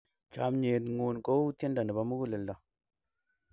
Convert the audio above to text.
chamiet ng'un ko u tiendo nebo muguleldo